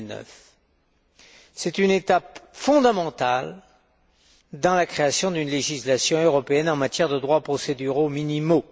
2009. C'est une étape fondamentale dans la création d'une législation européenne en matière de droits procéduraux minimaux.